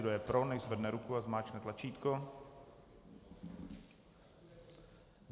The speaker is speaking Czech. Kdo je pro, nechť zvedne ruku a zmáčkne tlačítko.